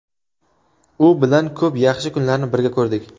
U bilan ko‘p yaxshi kunlarni birga ko‘rdik.